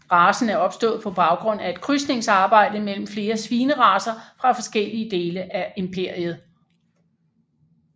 Racen er opstået på baggrund af et krydsningsarbejde mellem flere svineracer fra forskellige dele af imperiet